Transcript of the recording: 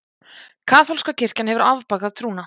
Kaþólska kirkjan hefur afbakað trúna.